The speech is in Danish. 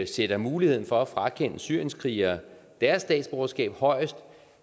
sætter muligheden for at frakende syrienskrigere deres statsborgerskab højest